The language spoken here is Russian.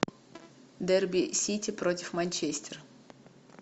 дерби сити против манчестер